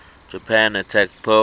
japan attacked pearl